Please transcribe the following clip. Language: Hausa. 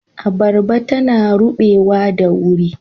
Abarba tana rubewa da wuri.